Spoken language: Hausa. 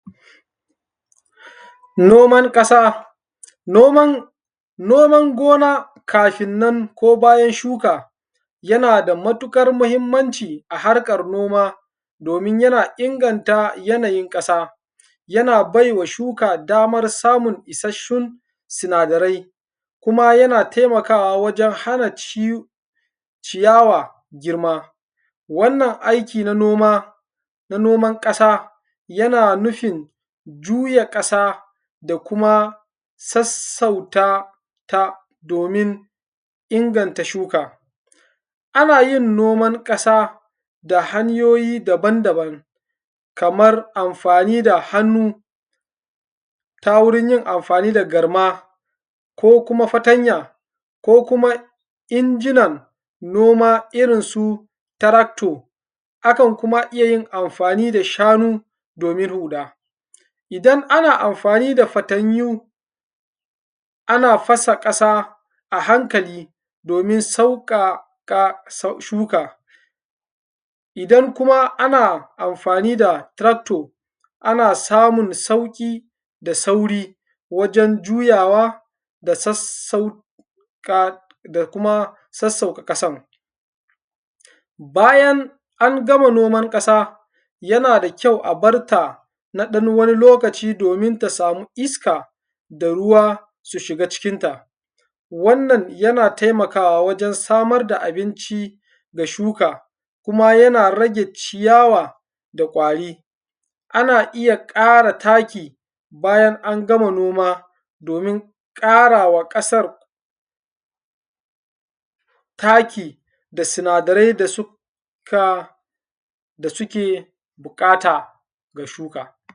Noman ƙasa, noman, noman gona kafin nan ko bayan shuka yana da matuƙar mahimmanci a harkar noma domin yana inganta yanayin ƙasa, yana baiwa shuka damar samun isasshun sinadarai, kuma yana taimakawa wajen hana ci ciyawa girma. Wannan aiki na noma, na noman ƙasa yana nufin juya ƙasa da kuma sassauta ta domin inganta shuka. Ana yin noman ƙasa da hanyoyi daban-daban kamar amfani da hannu ta wurin yin amfani da garma ko kuma fatanya ko kuma inji an noma irinsu tarakto, akan kuma iya yin amfani da shanu domin huɗa. Idan ana amfani da fatanyu ana fasa ƙasa a hankali domin sauƙaƙa shuka, idan kuma ana amfani da tractor ana samun sauƙi da sauri wajen juyawa da sassauƙa da kuma sassauƙa ƙasan. Bayan an gama nomar ƙasa, yana da kyau a barta na wani ɗan lokaci domin ta samu iska da ruwa su shiga cikin ta. Wannan yana taimakawa wajen samar da abinci ga shuka, kuma yana rage ciyawa da ƙwari. Ana iya ƙara taki bayan an gama noma domin ƙarawa ƙasar taki da sinadarai da suka da suke buƙata ga shuka.